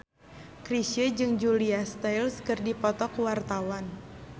Chrisye jeung Julia Stiles keur dipoto ku wartawan